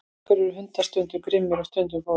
af hverju eru hundar stundum grimmir og stundum góðir